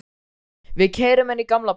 Við keyrum inn í gamla bæinn.